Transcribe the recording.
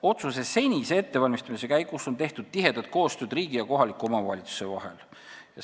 Otsuse ettevalmistamise käigus on riigi ja kohaliku omavalitsuse vahel tihedat koostööd tehtud.